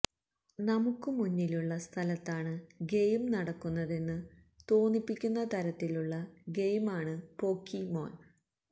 നമുക്ക് മുന്നിലുള്ള സ്ഥലത്താണ് ഗെയിം നടക്കുന്നതെന്ന് തോന്നിപ്പിക്കുന്ന തരത്തിലുള്ള ഗെയിമാണ് പോക്കിമോന്